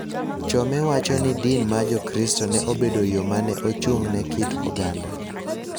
Chome wacho ni din ma Jokristo ne obedo yo ma ne ochung�ne kit oganda